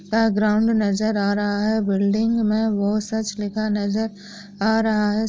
सा ग्राउंड नजर आ रहा है बिल्डिंग मे बहुत नजर आ रहा है ।